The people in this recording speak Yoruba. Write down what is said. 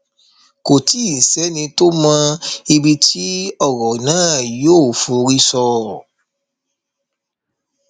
kò tí ì sẹni tó mọ ibi tí ọrọ náà yóò forí sọ